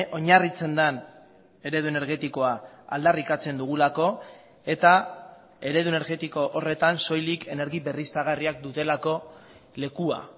oinarritzen den eredu energetikoa aldarrikatzen dugulako eta eredu energetiko horretan soilik energi berriztagarriak dutelako lekua